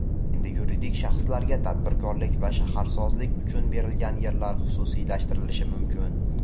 Endi yuridik shaxslarga tadbirkorlik va shaharsozlik uchun berilgan yerlar xususiylashtirilishi mumkin.